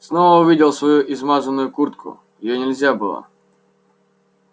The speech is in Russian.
снова увидел свою измазанную куртку её нельзя было